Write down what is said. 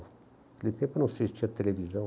Naquele tempo, eu não sei se tinha televisão.